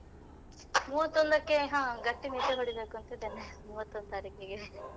ಮೂವತ್ತೊಂದಕ್ಕೆ ಹ ಗಟ್ಟಿ ನಿದ್ದೆ ಹೊಡಿಬೇಕಂತ ಇದ್ದೇನೆ ಮೂವತ್ತೊಂದು ತಾರೀಕಿಗೆ.